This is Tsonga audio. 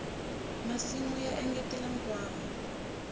masimu ya engetela nkwama